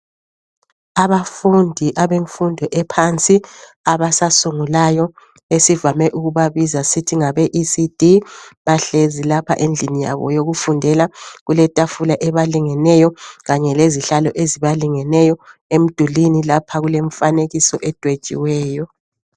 Abafundi abemfundo ephansi abasasungulayo esivame ukubabiza sithi ngabe ecd bahlezi lapha endlini yabo yokufundela kuletafula ebalingeneyo kanye lezitulo ezibalingeneyo. Emdulwini kulemifanekiso edwetshiweyo